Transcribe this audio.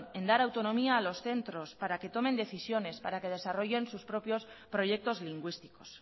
en dar autonomía a los centros para que tomen decisiones para que desarrollen sus propios proyectos lingüísticos